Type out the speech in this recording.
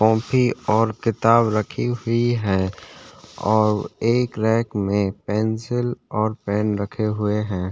Copy और किताब रखी हुई है और एक रैक में पेंसिल और पेन रखे हुए है ।